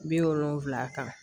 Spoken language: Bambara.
Bi wolonfila kan